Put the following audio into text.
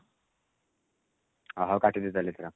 ଅ ହଉ କାଟି ଦିଅ ତାହେଲେ ଏଥର